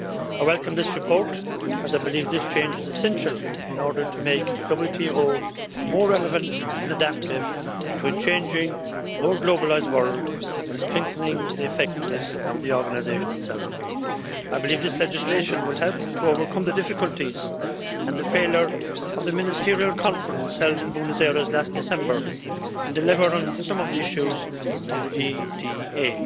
I welcome this report, as I believe this change is essential in order to make the WTO more relevant and adaptive to a changing, more globalised world, while strengthening the effectiveness of the organisation itself. I believe this legislation will help to overcome the difficulties and the failure of the Ministerial Conference held in Buenos Aires last December and deliver on some of the issues of the DDA.